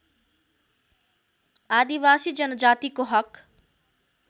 आदिवासी जनजातिको हक